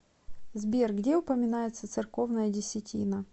сбер где упоминается церковная десятина